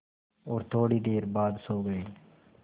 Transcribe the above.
और थोड़ी देर बाद सो गए